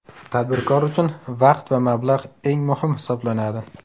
Tadbirkor uchun vaqt va mablag‘ eng muhim hisoblanadi.